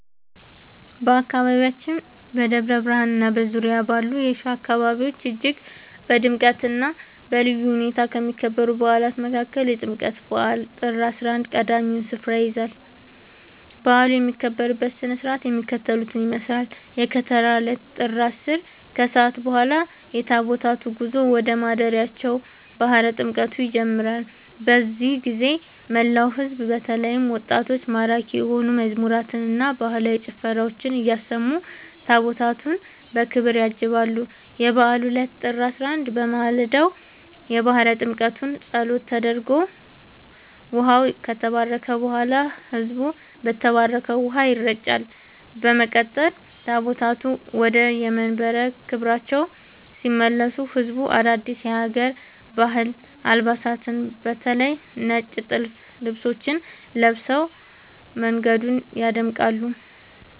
በአካባቢያችን በደብረ ብርሃንና በዙሪያው ባሉ የሸዋ አካባቢዎች እጅግ በድምቀትና በልዩ ሁኔታ ከሚከበሩ በዓላት መካከል የጥምቀት በዓል (ጥር 11) ቀዳሚውን ስፍራ ይይዛል። በዓሉ የሚከበርበት ሥነ ሥርዓት የሚከተለውን ይመስላል፦ የከተራ ዕለት (ጥር 10)፦ ከሰዓት በኋላ የታቦታቱ ጉዞ ወደ ማደሪያቸው (ባሕረ ጥምቀቱ) ይጀምራል። በዚህ ጊዜ መላው ሕዝብ በተለይም ወጣቶች ማራኪ የሆኑ መዝሙራትንና ባህላዊ ጭፈራዎችን እያሰሙ ታቦታቱን በክብር ያጅባሉ። የበዓሉ ዕለት (ጥር 11)፦ በማለዳው የባሕረ ጥምቀቱ ጸሎት ተደርጎ ውኃው ከተባረከ በኋላ፣ ሕዝቡ በተባረከው ውኃ ይረጫል። በመቀጠል ታቦታቱ ወደየመንበረ ክብራቸው ሲመለሱ ሕዝቡ አዳዲስ የሀገር ባህል አልባሳትን (በተለይ ነጭ ጥልፍ ልብሶችን) ለብሶ መንገዱን ያደምቃል።